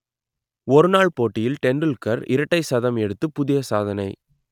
ஒருநாள் போட்டியில் டெண்டுல்கர் இரட்டை சதம் எடுத்துப் புதிய சாதனை